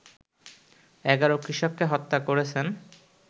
১১ কৃষককে হত্যা করেছেন